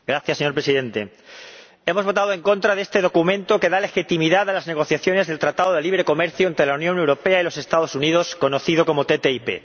Señor Presidente, hemos votado en contra de este documento que da legitimidad a las negociaciones del tratado de libre comercio entre la Unión Europea y los Estados Unidos, conocido como ATCI.